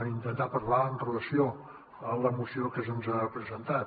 intentaré parlar amb relació a la moció que se’ns ha presentat